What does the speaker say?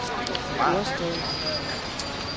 Ørsted